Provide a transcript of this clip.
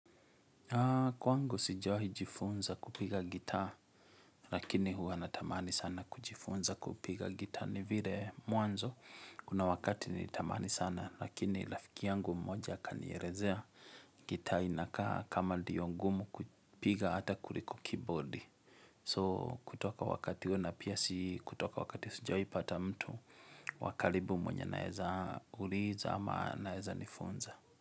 Kwangu sijawahijifunza kupiga gita lakini huwa na tamani sana kujifunza kupiga gita ni vile mwanzo kuna wakati ni tamani sana lakini rafiki yangu mmoja akanierezea gita inakaa kama ndio ngumu kupiga hata kuliko keyboard. So kutoka wakati huo na pia si kutoka wakati sijawahi pata mtu wakalibu mwenye naeza kuriiza ama naeza nifunza.